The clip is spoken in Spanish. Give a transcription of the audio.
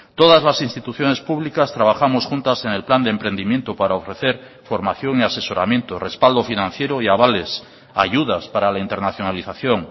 todas las instituciones públicas trabajamos juntas en el plan de emprendimiento para ofrecer formación y asesoramiento respaldo financiero y avales ayudas para la internacionalización